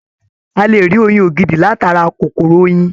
A lè rí oyin ògidì látara kòkòrò oyin.